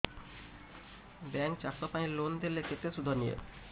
bank ଚାଷ ପାଇଁ loan ଦେଲେ କେତେ ସୁଧ ନିଏ